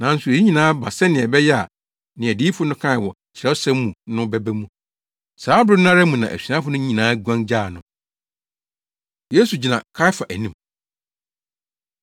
Nanso eyi nyinaa aba sɛnea ɛbɛyɛ a nea adiyifo no kae wɔ Kyerɛwsɛm mu no bɛba mu.” Saa bere no ara mu na asuafo no nyinaa guan gyaa no. Yesu Gyina Kaiafa Anim